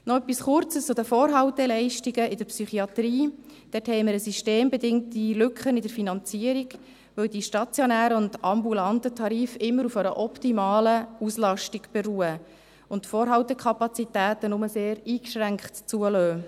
Noch etwas Kurzes zu den Vorhalteleistungen in der Psychiatrie: Dort haben wir eine systembedingte Lücke in der Finanzierung, weil die stationären und ambulanten Tarife immer auf einer optimalen Auslastung beruhen und Vorhaltekapazitäten nur sehr eingeschränkt zugelassen werden.